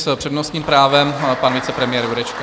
S přednostním právem pan vicepremiér Jurečka.